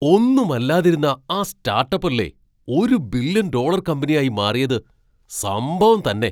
ഒന്നും അല്ലാതിരുന്ന ആ സ്റ്റാട്ടപ്പ് അല്ലേ ഒരു ബില്യൺ ഡോളർ കമ്പനിയായി മാറിയത്, സംഭവം തന്നെ!